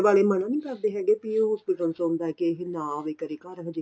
ਮਨਾ ਨੀਂ ਕਰਦੇ ਹੈਗੇ ਬੀ ਇਹ hospital ਚੋ ਆਉਂਦਾ ਕੇ ਇਹ ਨਾ ਆਵੇ ਕਦੇ ਘਰ ਹਜੇ